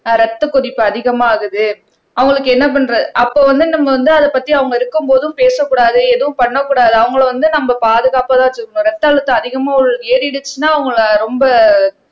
அஹ் ரத்தக் கொதிப்பு அதிகமாகுது அவங்களுக்கு என்ன பண்ற அப்போ வந்து நம்ம வந்து அதைப் பத்தி அவங்க இருக்கும்போதும் பேசக்கூடாது எதுவும் பண்ணக் கூடாது அவங்களை வந்து நம்ம பாதுகாப்பாதான் வச்சுக்கணும் ரத்த அழுத்தம் அதிகமா ஏறிடுச்சுன்னா அவங்களை ரொம்ப